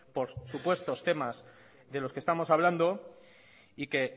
por supuestos temas de los que estamos hablando y que